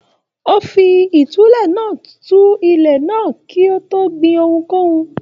O fí ìtúlẹ̀ náà tún ilẹ̀ náà ṣe kí o tó gbìn ohunkóhun.